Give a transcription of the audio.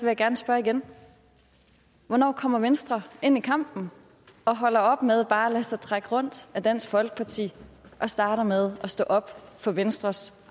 jeg gerne spørge igen hvornår kommer venstre ind i kampen og holder op med bare at lade sig trække rundt af dansk folkeparti og starter med at stå op for venstres